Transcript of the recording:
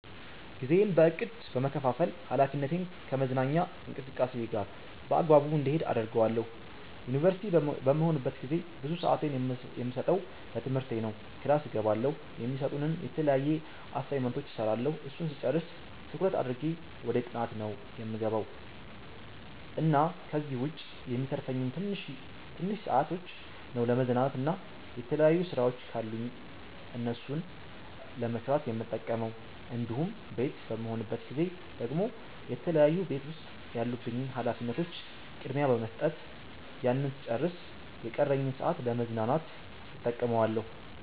ጊዜዬን በ እቅድ በመከፋፈል ሀላፊነቴን ከመዝናኛ እንቅስቃሴየ ጋር በአግባቡ እንዲሄድ አደርገዋለሁ። ዩንቨርሲቲ በምሆንበት ጊዜ ብዙ ስአቴን የምሰጠው ለትምህርቴ ነው ክላስ እገባለሁ፣ የሚሰጡንን የተለያዩ አሳይመንቶች እስራለሁ እሱን ስጨርስ ትኩረት አድርጌ ወደ ጥናት ነው የምገባው እና ከዚህ ዉጭ የሚተርፉኝን ትንሽ ሰአቶች ነው ለመዝናናት እና የተለያዩ ስራወች ካሉኝ እሱን ለመስራት የምጠቀመው እንዲሁም ቤት በምሆንበት ጊዜ ደግሞ የተለያዩ ቤት ዉስጥ ያሉብኝን ሀላፊነቶች ቅድሚያ በመስጠት ያንን ስጨርስ የቀረኝን ሰአት ለ መዝናናት እተቀመዋለሁ